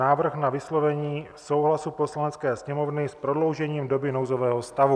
Návrh na vyslovení souhlasu Poslanecké sněmovny s prodloužením doby nouzového stavu